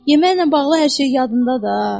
Yeməklə bağlı hər şeyi yadında ha.